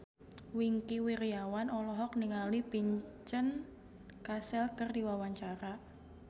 Wingky Wiryawan olohok ningali Vincent Cassel keur diwawancara